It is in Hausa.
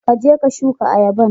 Ka je ka shuka ayaban.